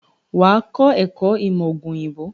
Wà á kọ́ ẹ̀kọ́ ìmọ̀ òògùn òyìnbó.